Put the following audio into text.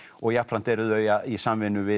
jafnframt eru þau í samvinnu við